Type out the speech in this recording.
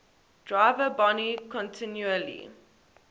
driver boni continually